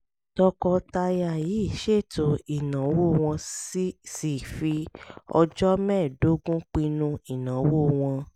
tọkọtaya yìí ṣètò ìnáwó wọ́n sì fi ọjọ́ mẹ́ẹ̀ẹ́dógún pinnu ìnáwó wọn